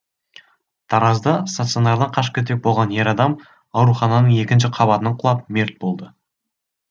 таразда стационардан қашып кетпек болған ер адам аурухананың екінші қабатынан құлап мерт болды